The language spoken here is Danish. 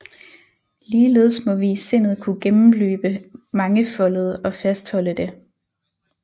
Ligeledes må vi i sindet kunne gennemløbe mangefoldet og fastholde det